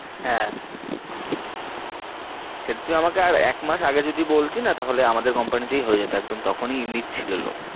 হ্যাঁ সেটা তুই আমাকে আর এক মাস আগে যদি বলতি না তাহলে আমাদের company তেই হয়ে যেতো একদম, তখন ই নিচ্ছিল লোক ।